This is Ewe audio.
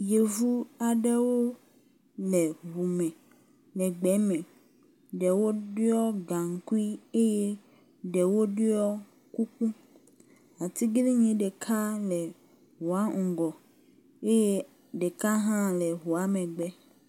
Yevu aɖewo le ŋu me le gbe me ɖewo ɖɔ gaŋkui eye ɖewo ɖɔ kuku. Atiglinyi gã ɖeka le ŋua ŋgɔ eye ɖeka hã le ŋua megbe.